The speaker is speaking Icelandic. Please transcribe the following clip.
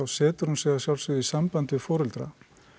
setur hún sig að sjálfsögðu í samband við foreldra